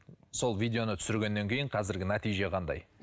сол видеоны түсіргеннен кейін қазіргі нәтиже қандай